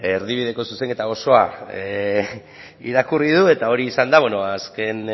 beno ba erdibideko zuzenketa osoa irakurri du eta hori izan da azken